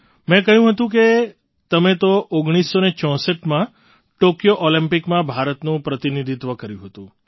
મેં કહ્યું હતું કે તમે તો ૧૯૬૪માં ટૉક્યો ઑલિમ્પિકમાં ભારતનું પ્રતિનિધિત્વ કર્યું હતું